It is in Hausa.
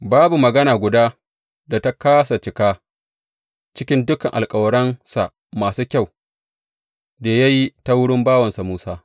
Babu magana guda da ta kāsa cika cikin dukan alkawaransa masu kyau da ya yi ta wurin bawansa Musa.